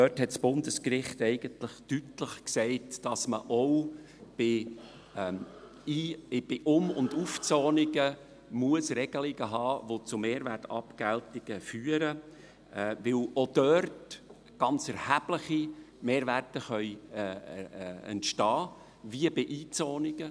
Eigentlich sagte das Bundesgericht dort deutlich, dass man auch bei Um- und Aufzonungen Regelungen haben muss, welche zu Mehrwertabgeltungen führen, weil auch da, wie bei Einzonungen, ganz erhebliche Mehrwerte entstehen können.